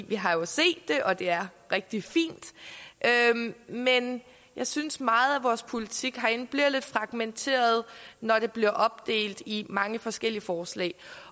vi har jo set det og det er rigtig fint men jeg synes meget af vores politik herinde bliver lidt fragmenteret når den bliver opdelt i mange forskellige forslag